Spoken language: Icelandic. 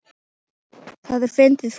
Það er fyndið fólk.